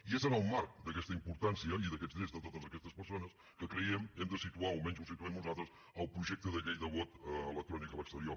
i és en el marc d’aquesta importància i d’aquests drets de totes aquestes persones que creiem hem de situar o almenys ho situem nosaltres el projecte de llei de vot electrònic a l’exterior